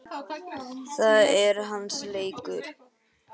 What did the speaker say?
Það er hans leikur.